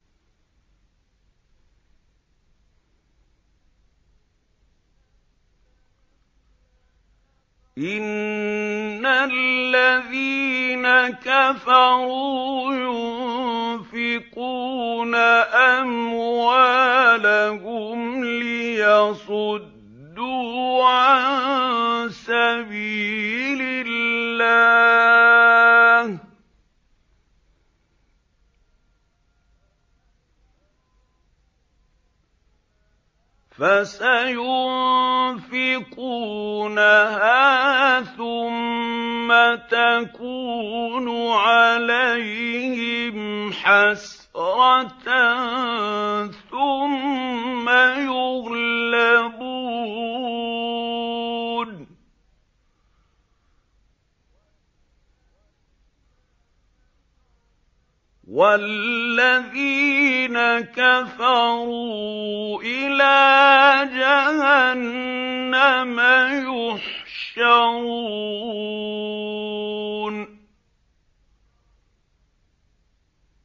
إِنَّ الَّذِينَ كَفَرُوا يُنفِقُونَ أَمْوَالَهُمْ لِيَصُدُّوا عَن سَبِيلِ اللَّهِ ۚ فَسَيُنفِقُونَهَا ثُمَّ تَكُونُ عَلَيْهِمْ حَسْرَةً ثُمَّ يُغْلَبُونَ ۗ وَالَّذِينَ كَفَرُوا إِلَىٰ جَهَنَّمَ يُحْشَرُونَ